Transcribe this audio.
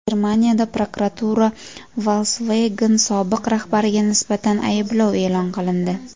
Germaniyada prokuratura Volkswagen sobiq rahbariga nisbatan ayblov e’lon qilindi.